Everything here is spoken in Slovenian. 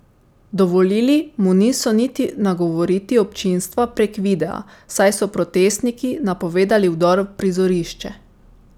Dovolili mu niso niti nagovoriti občinstva prek videa, saj so protestniki napovedali vdor v prizorišče.